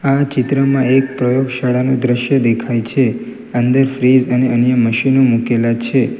આ ચિત્રમાં એક પ્રયોગશાળાનું દ્રશ્ય દેખાય છે અંદર ફ્રીઝ અને અન્ય મશીનો મુકેલા છે.